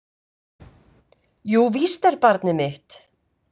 Jú, víst er barnið mitt.